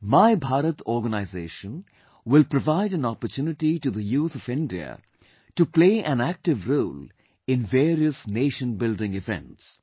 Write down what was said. My Bharat Organization will provide an opportunity to the youth of India to play an active role in various nation building events